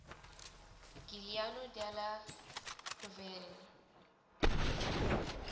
giuliano della rovere